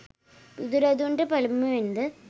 බුදුරදුන්ට පළමුවෙන්ද